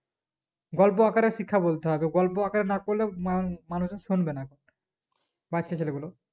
গল্প আকারে শিক্ষা বলতে হবে গল্প আকারে না করলে মামানুষে শুনবে না বাচ্চা ছেলে গুলো